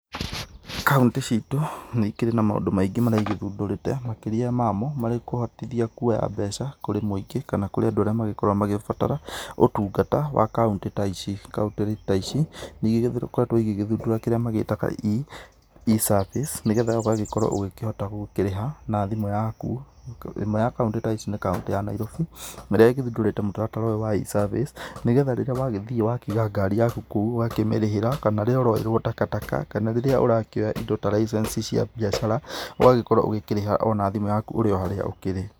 Kauntĩ citũ nĩikĩrĩ na maũndũ maingĩ maria cigĩthundũrĩte, makĩrĩa mamo marĩ kũhotithia kuoya mbeca kũrĩ mũingĩ kana kũrĩ andũ arĩa makoragwo makĩbatara ũtungata wa kauntĩ ta ici. Kauntĩ ta ici nĩigĩkoretwo igĩthundũra kĩrĩa magĩtaga e-service nĩgetha ũgagĩkorwo ũkĩhota gũkĩrĩha na thimũ yaku. Ĩmwe ya kauntĩ ta ici nĩ kauntĩ ya Nairobi ĩrĩa ĩgĩthundũrĩre mũtaratara ũyũ wa e-service, nĩgetha rĩrĩa wagĩthiĩ watiga ngari yaku kũu ũgakĩmĩrĩhĩra, kana rĩrĩa ũroerwo takataka, kana rĩrĩa ũrakĩoya indo ta license cia biacara, ũgagĩkorwo ũkĩrĩha ona thimũ yaku ũrĩ o harĩa ũkĩrĩ.